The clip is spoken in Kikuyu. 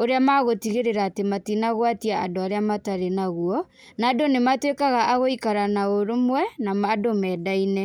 ũrĩa megũtigĩrĩra atĩ matinagwatia andũ arĩa matarĩ naguo. Na andũ nĩ matuĩkaga a gũikara na ũrũmwe na andũ mendaine.